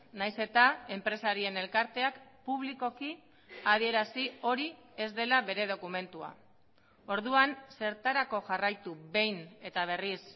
nahiz eta enpresarien elkarteak publikoki adierazi hori ez dela bere dokumentua orduan zertarako jarraitu behin eta berriz